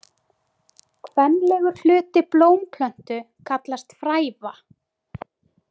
Kvenlegur hluti blómplöntu kallast fræva.